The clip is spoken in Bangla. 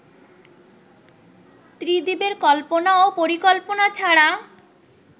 ত্রিদিবের কল্পনা ও পরিকল্পনা ছাড়া